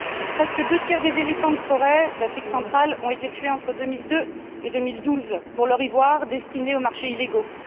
Presque deux tiers des éléphants de forêt d'Afrique Centrale ont été tués entre 2002 et 2012 pour leur ivoire destiné aux marchés illégaux.